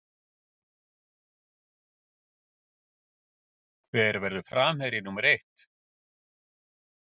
Hver verður framherji númer eitt?